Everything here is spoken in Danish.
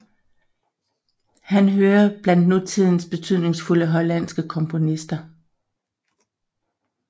Han hører blandt nutidens betydningsfulde hollandske komponister